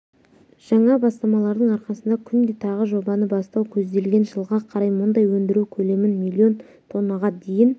жаңа бастамалардың арқасында күнде тағы жобаны бастау көзделген жылға қарай мұнай өндіру көлемін миллион тоннаға дейін